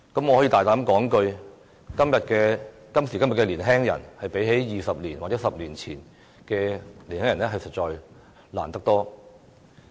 我膽敢說，今時今日的年輕人較20或10年前的年輕人所面對的困難多得多。